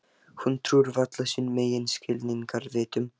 Hún trúir varla sínum eigin skilningarvitum.